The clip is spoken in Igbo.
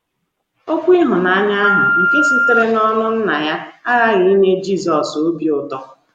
Okwu ịhụnanya ahụ nke sitere n’ọnụ Nna ya aghaghị inye Jizọs obi ụtọ.